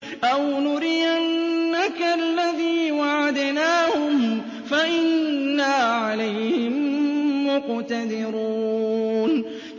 أَوْ نُرِيَنَّكَ الَّذِي وَعَدْنَاهُمْ فَإِنَّا عَلَيْهِم مُّقْتَدِرُونَ